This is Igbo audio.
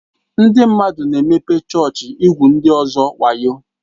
Ndị mmadụ na-emepe chọọchị igwu ndị ọzọ wayo.